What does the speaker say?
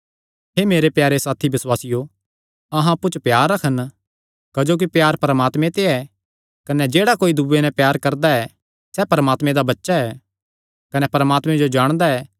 हे मेरे प्यारे साथी बसुआसियो अहां अप्पु च प्यार रखन क्जोकि प्यार परमात्मे ते ऐ कने जेह्ड़ा कोई दूयेयां नैं प्यार करदा ऐ सैह़ परमात्मे दा बच्चा ऐ कने परमात्मे जो जाणदा ऐ